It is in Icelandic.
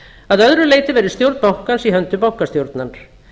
að öðru leyti verði stjórn bankans í höndum bankastjórnar